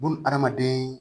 Buna adamaden